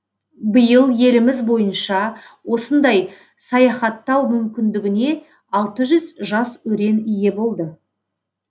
биыл еліміз бойынша осындай саяхаттау мүмкіндігіне алты жүз жас өрен ие болды